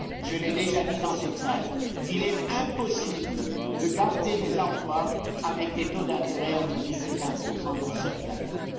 Je l'ai déjà dit dans cette salle il est impossible de garder les emplois avec des taux d'intérêt entre 10 et 15 dans certains pays.